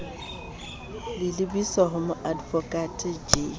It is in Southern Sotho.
le lebiswa ho moadvokate j